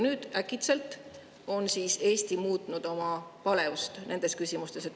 Nüüd äkitselt on Eesti oma palet nendes küsimustes muutnud.